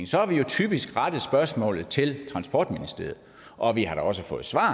så har vi jo typisk rettet spørgsmålet til transportministeriet og vi har da også fået svar